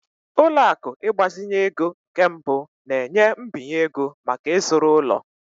Ụlọ akụ ịgbazinye ego nke mbụ na-enye mbinye ego maka ịzụrụ ụlọ.